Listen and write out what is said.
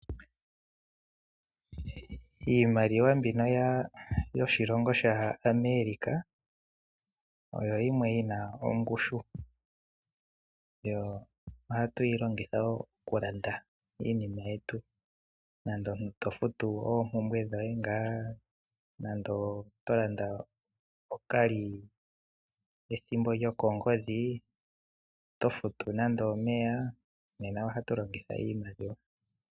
Iimaliwa mbino yoshilongo shAmerica oyo yimwe yi na ongushu nohatu yi longitha okulanda iinima yetu nenge omuntu to futu oompumbwe dhoye nenge oto landa ethimbo lyokongodhi nenge to futu omeya. Nena oto longitha iimaliwa.